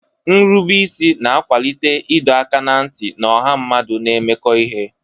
Nrubeisi na-akwalite ịdọ aka ná ntị na ọha mmadụ na-emekọ ihe.